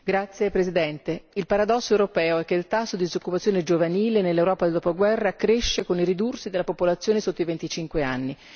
Signora Presidente, il paradosso europeo è che il tasso di disoccupazione giovanile nell'Europa del dopoguerra cresce con il ridursi della popolazione sotto i 25 anni